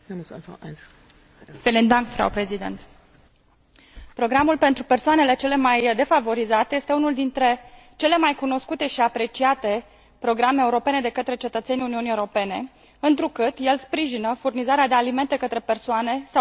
Programul pentru persoanele cele mai defavorizate este unul dintre cele mai cunoscute și apreciate programe europene de către cetățenii Uniunii Europene, întrucât el sprijină furnizarea de alimente către persoane sau familii deosebit de vulnerabile care se găsesc într o situație dificilă.